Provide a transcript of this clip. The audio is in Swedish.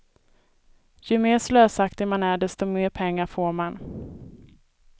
Ju mer slösaktig man är desto mer pengar får man.